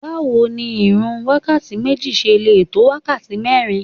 Báwo ni irun wákàtí méjì ṣe lè tó wákàtí mẹ́rin?